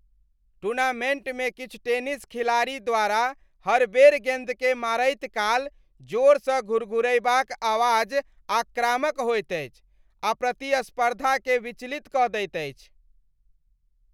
टूर्नामेन्टमे किछु टेनिस खेलाड़ी द्वारा हर बेर गेन्दकेँ मारैत काल जोरसँ घुरघुरयबाक आवाज आक्रामक होएत अछि आ प्रतिस्पर्धाकेँ विचलित कऽ दैत अछि।